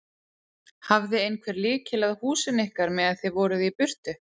Hafði einhver lykil að húsinu ykkar meðan þið voruð í burtu?